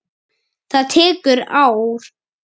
Það tekur ár.